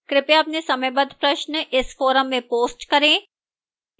कृपया अपने समयबद्ध प्रश्न इस forum में post करें